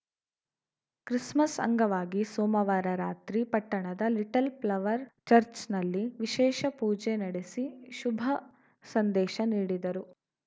Christmas ಅಂಗವಾಗಿ ಸೋಮವಾರ ರಾತ್ರಿ ಪಟ್ಟಣದ ಲಿಟಲ್‌ ಪ್ಲವರ್‌ ಚರ್ಚ್ ನಲ್ಲಿ ವಿಶೇಷ ಪೂಜೆ ನಡೆಸಿ ಶುಭ ಸಂದೇಶ ನೀಡಿದರು